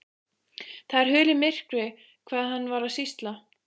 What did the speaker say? Það er hulið myrkri hvað hann var að sýsla.